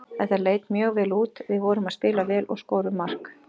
Þetta leit mjög vel út, við vorum að spila vel og skorum mark.